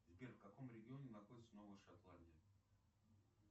сбер в каком регионе находится новая шотландия